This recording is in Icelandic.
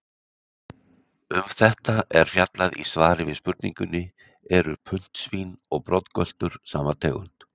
Um þetta er fjallað í svari við spurningunni Eru puntsvín og broddgöltur sama tegund?